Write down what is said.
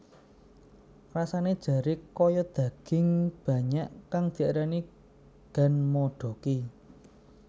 Rasane jare kaya daging banyak kang diarani ganmodoki